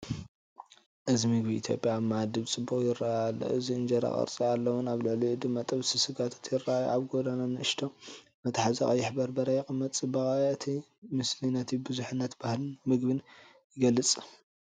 እዚ ምግቢ ኢትዮጵያ ኣብ መኣዲ ብጽቡቕ ይረአ ኣሎ። እንጀራ ቅርጺ ኣለዎን ኣብ ልዕሊኡ ድማ ጥብሲ ስጋታት ይራኣዩ፤ ኣብ ጎድና ንእሽቶ መትሓዚ ቀይሕ በርበረ ይቕመጥ። ጽባቐ እቲ ምስሊ ነቲ ብዙሕነት ባህልን መግብን ይገልጽ።